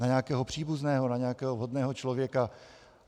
Na nějakého příbuzného, na nějakého vhodného člověka.